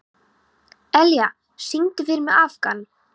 Elía, syngdu fyrir mig „Afgan“.